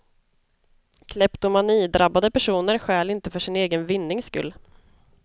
Kleptomanidrabbade personer stjäl inte för sin egen vinnings skull.